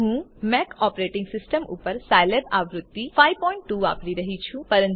હું Mac operating system ઉપર Scilab આવૃત્તિ 52 વાપરી રહ્યી છું